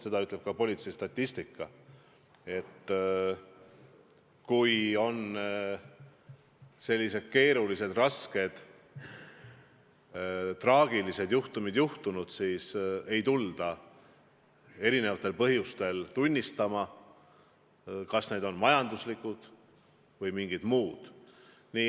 Seda kinnitab ka politsei statistika: kui on sellised keerulised, rasked, traagilised juhtumid, siis ei tulda erinevatel põhjustel tunnistama – on need põhjused siis majanduslikud või mingid muud.